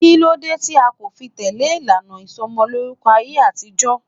Kí ló dé tí a kò fi tẹle ìlànà ìsomolórúkọ ayé àtijọ́?